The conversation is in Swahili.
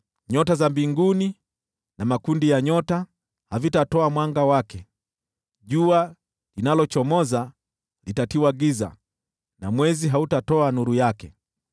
Nyota za mbinguni na makundi ya nyota havitatoa mwanga wake. Jua linalochomoza litatiwa giza na mwezi hautatoa nuru yake.